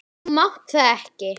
Þú mátt það ekki!